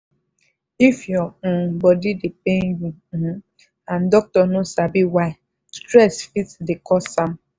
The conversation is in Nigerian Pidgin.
if your um body dey pain you um and doctor no sabi why stress fit dey cause am.